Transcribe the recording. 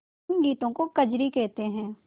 इन गीतों को कजरी कहते हैं